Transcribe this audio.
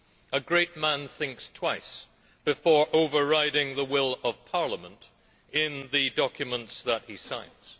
A great man thinks twice before overriding the will of Parliament in the documents that he signs.